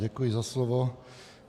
Děkuji za slovo.